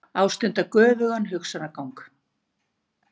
Ástunda göfugan hugsanagang.